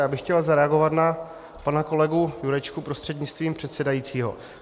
Já bych chtěl zareagovat na pana kolegu Jurečku prostřednictvím předsedajícího.